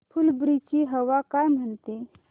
फुलंब्री ची हवा काय म्हणते